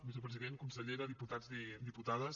vicepresident consellera diputats i diputades